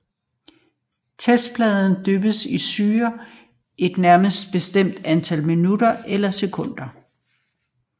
Testpladen dyppes i syren et nærmere bestemt antal minutter eller sekunder